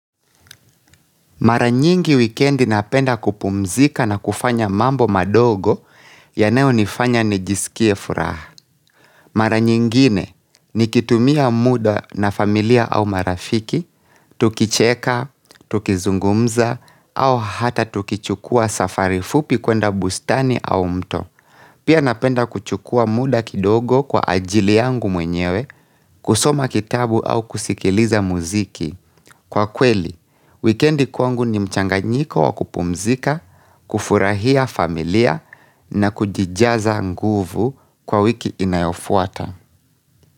Maranyingi wikendi napenda kupumzika na kufanya mambo madogo yanayo nifanya nijisikie furaha. Mara nyingine ni kitumia muda na familia au marafiki, tukicheka, tukizungumza au hata tukichukua safari fupi kwenda bustani au mto. Pia napenda kuchukua muda kidogo kwa ajili yangu mwenyewe, kusoma kitabu au kusikiliza muziki. Kwa kweli, wikendi kwangu ni mchanganyiko wa kupumzika, kufurahia familia na kujijaza nguvu kwa wiki inayofuata.